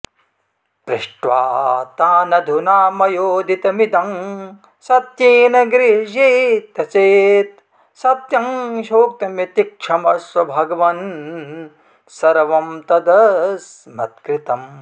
पृष्ट्वा तानधुना मयोदितमिदं सत्येन गृह्येत चेत् सत्यं ह्युक्तमिति क्षमस्व भगवन् सर्वं तदस्मत्कृतम्